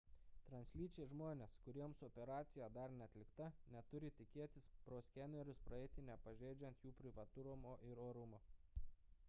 translyčiai žmonės kuriems operacija dar neatlikta neturi tikėtis pro skenerius praeiti nepažeidžiant jų privatumo ir orumo